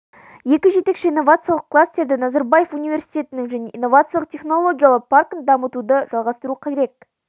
екі жетекші инновациялық кластерді назарбаев университетін және инновациялық технологиялар паркін дамытуды жалғастыру керек